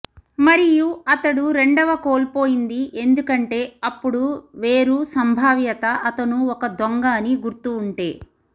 మరియు అతడు రెండవ కోల్పోయింది ఎందుకంటే అప్పుడు వేరు సంభావ్యత అతను ఒక దొంగ అని గుర్తు ఉంటే